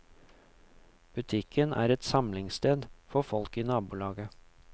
Butikken er et samlingssted for folk i nabolaget.